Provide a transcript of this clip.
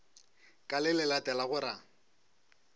ka le le latelago ra